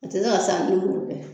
A ti se ka san ni m'olu kɛ.